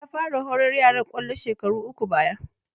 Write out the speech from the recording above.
Ya fara horar yaran kwallo shekaru uku baya.